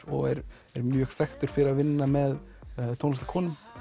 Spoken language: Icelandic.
og er mjög þekktur fyrir að vinna með tónlistarkonum